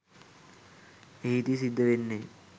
එහෙදි සිද්ද වෙන්නේ